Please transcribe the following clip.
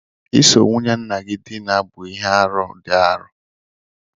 Iso nwunye nna-gi dina bu ihe-árú di arọ́.